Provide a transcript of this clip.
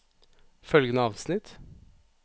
Følgende avsnitt